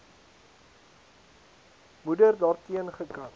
moeder daarteen gekant